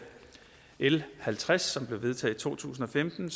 l halvtreds som blev vedtaget to tusind og femten